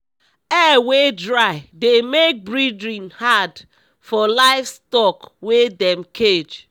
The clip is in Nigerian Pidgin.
air wey dry de make breathing had for livestock wey dem cage